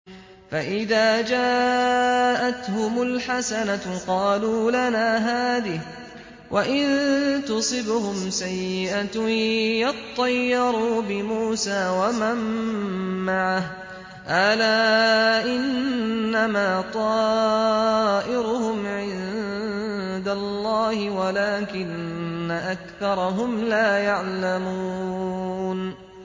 فَإِذَا جَاءَتْهُمُ الْحَسَنَةُ قَالُوا لَنَا هَٰذِهِ ۖ وَإِن تُصِبْهُمْ سَيِّئَةٌ يَطَّيَّرُوا بِمُوسَىٰ وَمَن مَّعَهُ ۗ أَلَا إِنَّمَا طَائِرُهُمْ عِندَ اللَّهِ وَلَٰكِنَّ أَكْثَرَهُمْ لَا يَعْلَمُونَ